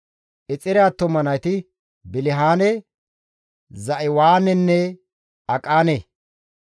Exeere attuma nayti Bilihaane, Za7iwaanenne Aqaane.